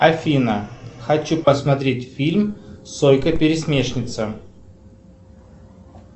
афина хочу посмотреть фильм сойка пересмешница